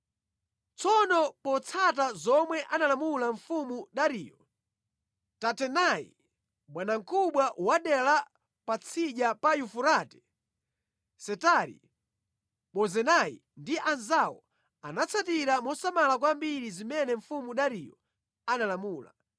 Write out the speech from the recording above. Tsono potsata zomwe analamula mfumu Dariyo, Tatenai bwanamkubwa wa dera la Patsidya pa Yufurate, Setari-Bozenai ndi anzawo anatsatira mosamala kwambiri zimene mfumu Dariyo analamula.